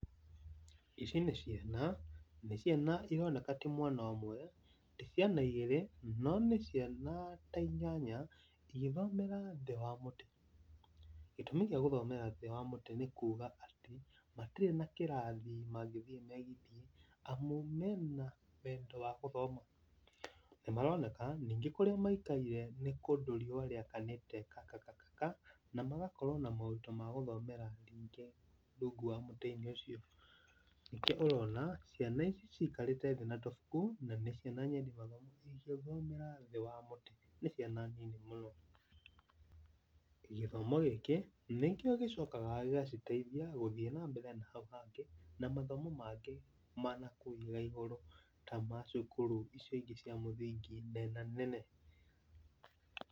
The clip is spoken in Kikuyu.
Ici nĩ ciana nĩ ciana, nĩ ciana ironeka ti mwana ũmwe, ti ciana igiri, no nĩ ciana ta inyanya igĩthomera thĩĩ wa mũtĩ. Gĩtũmi gia gũthomera thĩĩ wa mũtĩ nĩ kuga atĩ, matirĩ na kĩrathi mangĩthiĩ megitie amu mena wendo wa gũthoma. Nĩ maroneka ningĩ kũrĩa maikaire nĩ kũndũ riũa rĩakanĩte kakakakaka na magakorwo na moritũ ma gũthomera ningĩ rungu rwa mũtĩ-inĩ ũcio. Nĩkĩo ũrona ciana ici cikarĩte thĩĩ na tũbuku na nĩ ciana nyendi mathomo cigĩthomera thĩ wa mũtĩ, nĩ ciana nini mũno. Gĩthomo gĩkĩ nĩkĩo gĩcokaga gĩgaciteithia gũthiĩ na mbere na hau hangĩ ,na mathomo mangĩ ma nakũu na igũrũ ta ma cukuru icio ingĩ cia mũthingi nena nene.